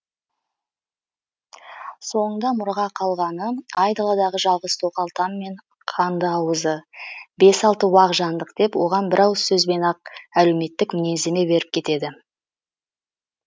соңында мұраға қалғаны айдаладағы жалғыз тоқал там мен қандыауызы бес алты уақ жандық деп оған бір ауыз сөзбен ақ әлеуметтік мінездеме беріп кетеді